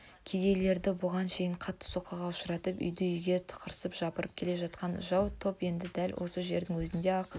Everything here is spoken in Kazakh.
кедейлерді бұған шейін қатты соққыға ұшыратып үйді-үйге тықсырып жапырып келе жатқан жау топ енді дәл осы жердің өзінде-ақ